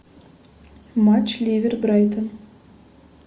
матч ливер брайтон